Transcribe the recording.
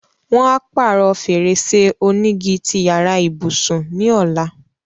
Wọn á pàrọ̀ fèrèsé onígi ti yàrá ìbùsùn ní ọ̀la.